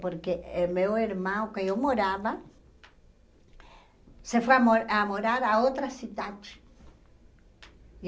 Porque eh meu irmão, que eu morava, se foi a mo a morar a outra cidade.